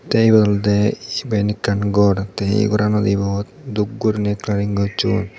te ebot olowde siben ekkan gor te ey gorano ibot dub guriney kalaring gocchon.